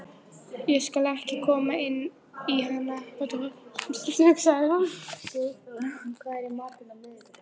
Ég skal ekki koma inn í hana, hugsaði hann.